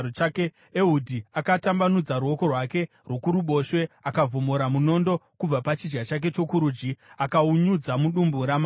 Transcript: Ehudhi akatambanudza ruoko rwake rworuboshwe, akavhomora munondo kubva pachidya chake chokurudyi akaunyudza mudumbu ramambo.